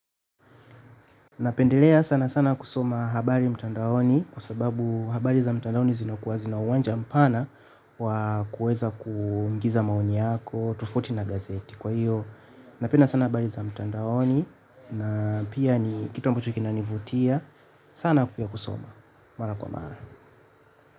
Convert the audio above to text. Napendelea sana sana kusoma habari mtandaoni kwa sababu habari za mtandaoni zinakuwa zina uwanja mpana wa kuweza kuingiza maoni yako, tofauti na gazeti. Kwa hiyo napenda sana habari za mtandaoni na pia ni kitu ambacho kina nivutia. Sana kukia kusoma. Mara kwa mara.